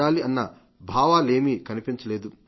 అన్న భావాలేమీ కనిపించలేదు